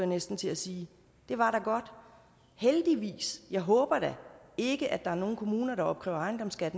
næsten til at sige det var da godt heldigvis jeg håber da ikke at der er nogle kommuner der opkræver ejendomsskat